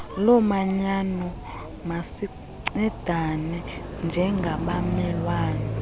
lomanyano masincedane njengabamelwane